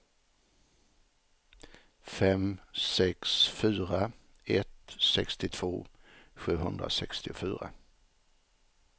fem sex fyra ett sextiotvå sjuhundrasextiofyra